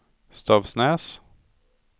Stavsnäs